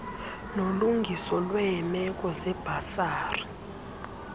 nolungiso lweemeko zebhasari